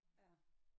Ja